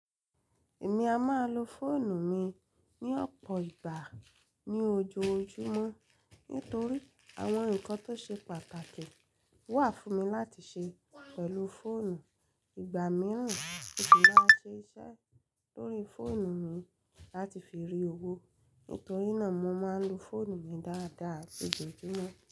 Èmi a máa lo fóònù mi ní ọ̀pọ̀ ìgbà ní ojoojúmọ́ nítorí àwọn ǹkan tó ṣe pàtàkì wà fún mi láti ṣe pẹ̀lú fóònù. Ìgbà mìíràn, mo ṣi ma siṣẹ́ lórí fóònù mi láti fi rí owó. Nítorí náà mo máa ń lo fóònù mi dáadáa lójoojúmọ́.